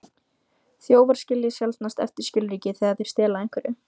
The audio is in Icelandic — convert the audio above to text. Þjófar skilja sjaldnast eftir skilríki þegar þeir stela einhverju.